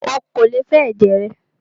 Ó kò lè fẹ ẹ̀jẹ̀ rẹ!